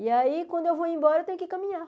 E aí, quando eu vou embora, eu tenho que caminhar.